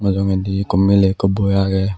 mujungedi ekku miley ekku boi agey.